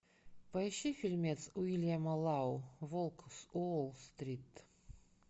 поищи фильмец уильяма лау волк с уолл стрит